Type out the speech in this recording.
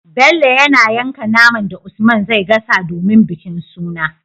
Bello yana yanka naman da usman zai gasa domin bikin suna